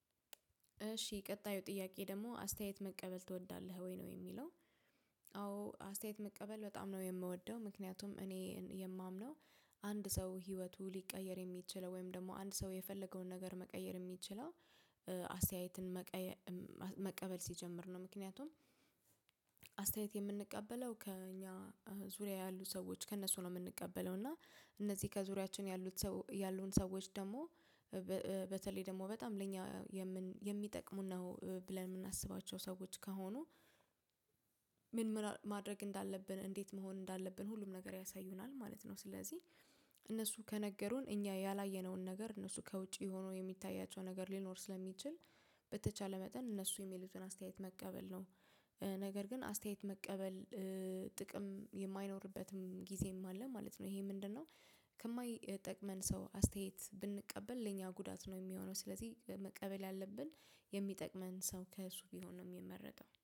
እሺ ቀጣዩ ጥያቄ ደግሞ አስተያየት መቀበል ትወዳለህ ወይ ነው የሚለው? አዎ አስተያየት መቀበል በጣም ነው የምወደው ምክንያቱም እኔ የማምነው። አንድ ሰው ህይወቱ ሊቀየር የሚችለው ወይም ደግሞ አንድ ሰው የፈለገውን ነገር መቀየር የሚችለው። አስተያየትን መቀበል ሲጀምር ነው። ምክንያቱም አስተያየት የምንቀበለው ከእኛ ዙሪያ ያሉ ሰዎች ከእነሱ ነው። ምንቀበለው እና እነዚህ ከዙሪያችን ያሉት ሰው ያሉን ሰዎች ደግሞ በተለይ ደግሞ በጣም ለኛ የሚጠቅሙን ነው ብለን ምናስባቸው ሰዎች ከሆኑ። ምን ማድረግ እንዳለብን እንዴት መሆን እንዳለብን ሁሉም ነገር ያሳዩናል ማለት ነው። ስለዚህ እነሱ ከነገሩን እኛ ያላየነውን ነገር እነሱ ከውጪ ሆኖ የሚታያቸው ነገር ሊኖር ስለሚችል በተቻለ መጠን እነሱ የሚሉትን አስተያየት መቀበል ነው። ግን አስተያየት መቀበል ጥቅም የማይኖርበትም ጊዜም አለ ማለት ነው። ይሄ ምንድነው? ከማይጠቅመን ሰው አስተያየት ብንቀበል ለኛ ጉዳት ነው የሚሆነው። ስለዚህ መቀበል ያለብን ሰው ከእሱ ቢሆን ነው ሚመረጠው